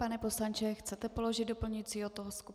Pane poslanče, chcete položit doplňující otázku?